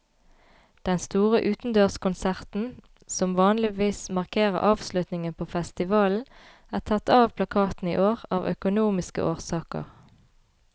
Den store utendørskonserten, som vanligvis markerer avslutningen på festivalen, er tatt av plakaten i år av økonomiske årsaker.